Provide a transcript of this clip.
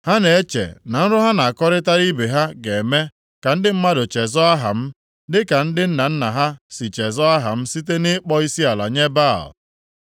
Ha na-eche na nrọ ha na-akọrịtara ibe ha ga-eme ka ndị mmadụ chezọọ aha m, dịka ndị nna nna ha si chezọọ aha m site nʼịkpọ isiala nye Baal.